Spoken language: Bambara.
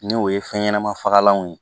N'o ye fɛn ɲɛnama fagalanw ye